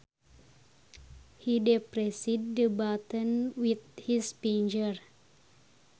He depressed the button with his finger